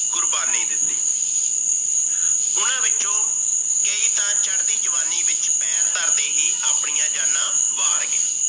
ਕੁਰਬਾਨੀ ਦਿਤੀ। ਉਨ੍ਹੋੰ ਵਿੱਚੋ ਕਈ ਤਾਂ ਚੜ ਦੀ ਜਵਾਨੀ ਵਿੱਚ ਪੈਰ ਧਰਦੇ ਹੀ ਆਪਣੀਆਂ ਜਾਨਾ ਵਾਰਗੇ ।